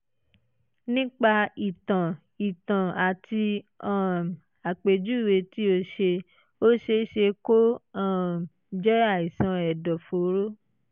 nípa ìtàn ìtàn àti um àpèjúwe tí o ṣe ó ṣe é ṣe kó um jẹ́ àìsàn ẹ̀dọ̀fóró